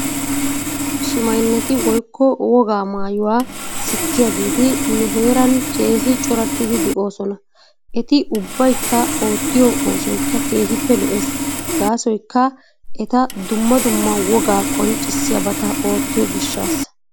Shimaynneti woykko wogaa maayuwa sikkiyageeti nu hee keehi chorattidi de'oosona. Eti ubbaykka ootiyo oosoykka keehippe lo'es. Gaasoykka ete dumma dumma wogaa qoncchisiyaabata oottiyoo gishaasa.